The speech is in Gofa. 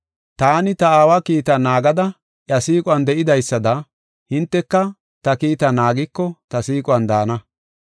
Taani ta Aawa kiitaa naagada iya siiquwan de7idaysada hinteka ta kiitaa naagiko ta siiquwan daana.